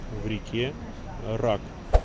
в реке рак